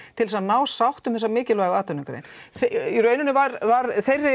til að ná sátt um þessa mikilvægu atvinnugrein í rauninni var var